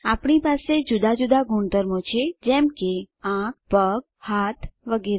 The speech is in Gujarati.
આપણી દરેક પાસે જુદા જુદા ગુણધર્મો છે જેમ કે આંખ પગ હાથ વગેરે